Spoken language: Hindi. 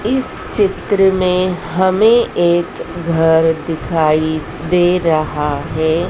इस चित्र में हमें एक घर दिखाई दे रहा है।